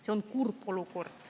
See on kurb olukord.